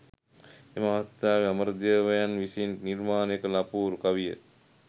එම අවස්ථාවේ අමරදේවයන් විසින් නිර්මාණය කළ අපූරු කවිය